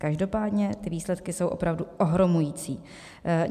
Každopádně ty výsledky jsou opravdu ohromující.